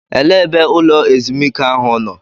Elee ebe ụlọ ezumike ahụ nọ?